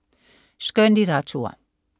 Skønlitteratur